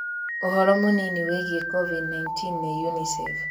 Ũhoro mũnini wĩgie Covid-19 nĩ UNICEF.